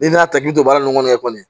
N'i y'a ta k'i to baara ninnu kɔnɔ